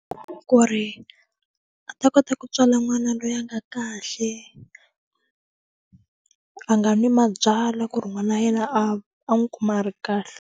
Ku ri a ta kota ku tswala n'wana loyi a nga kahle a nga n'wi mabyala ku ri n'wana wa yena a a n'wi kuma a ri kahle.